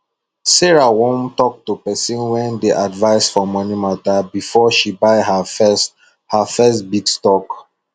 sarah wan talk to pesin wey dey advise for moni mata befor she buy ha first ha first big stock